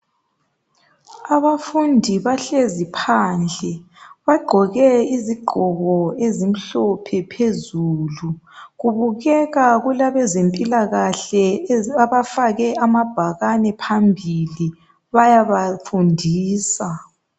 Abafundi bahlezi phandle bagqoke izigqoko ezimhlophe phezulu kubeka kulabeze mpilakahle bafake amabhakani phambili bayabafundisa